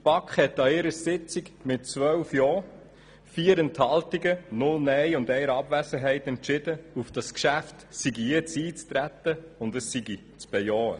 Die BaK entschied an ihrer Sitzung mit 12 JaStimmen bei 4 Enthaltungen gegenüber 0 Nein-Stimmen und bei einer Abwesenheit, es sei jetzt auf das Geschäft einzutreten und es sei zu bejahen.